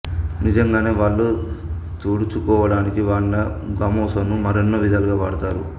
నిజంగానే వళ్ళు తుడుచుకోవడానికి వాడినా గమోసాను మరెన్నో విధాలుగా వాడుతారు